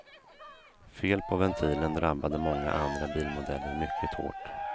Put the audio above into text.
Fel på ventilen drabbade många andra bilmodeller mycket hårt.